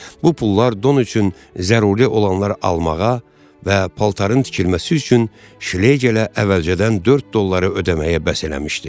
Bu pullar don üçün zəruri olanlar almağa və paltarın tikilməsi üçün Şlegelə əvvəlcədən 4 dolları ödəməyə bəs eləmişdi.